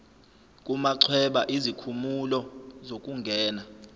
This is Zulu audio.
kumachweba izikhumulo zokungena